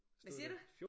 Hvad siger du